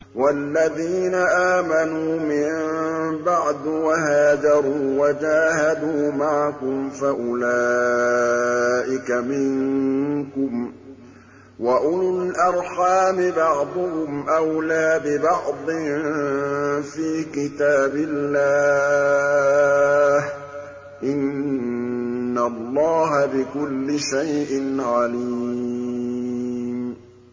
وَالَّذِينَ آمَنُوا مِن بَعْدُ وَهَاجَرُوا وَجَاهَدُوا مَعَكُمْ فَأُولَٰئِكَ مِنكُمْ ۚ وَأُولُو الْأَرْحَامِ بَعْضُهُمْ أَوْلَىٰ بِبَعْضٍ فِي كِتَابِ اللَّهِ ۗ إِنَّ اللَّهَ بِكُلِّ شَيْءٍ عَلِيمٌ